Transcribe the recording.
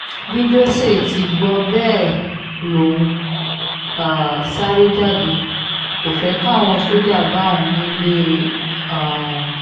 bí josé ti gbọ́ bẹ́ẹ̀ lòun um sáré jáde kò fẹ́ káwọn sójà bá òun nílé e um